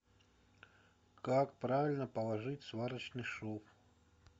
как правильно положить сварочный шов